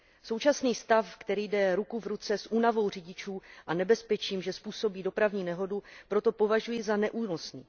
Současný stav, který jde ruku v ruce s únavou řidičů a nebezpečím, že způsobí dopravní nehodu, proto považuji za neúnosný.